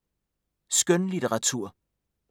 Skønlitteratur